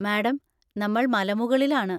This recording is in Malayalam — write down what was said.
മാഡം, നമ്മൾ മലമുകളിൽ ആണ്.